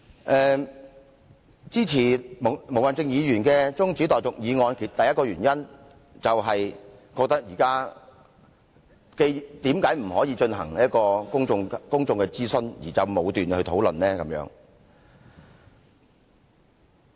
我支持毛孟靜議員提出中止待續議案的第一個原因，是認為為何不進行公眾諮詢，便武斷討論呢？